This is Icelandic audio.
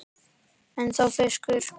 Ennþá fiskur.